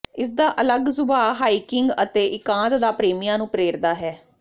ਇਸਦਾ ਅਲੱਗ ਸੁਭਾਅ ਹਾਈਕਿੰਗ ਅਤੇ ਇਕਾਂਤ ਦਾ ਪ੍ਰੇਮੀਆਂ ਨੂੰ ਪ੍ਰੇਰਦਾ ਹੈ